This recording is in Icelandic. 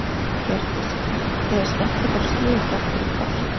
Hjördís: Þið hafið skellt ykkur á skíði þrátt fyrir frost?